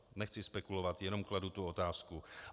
Nechci spekulovat, jenom kladu tu otázku.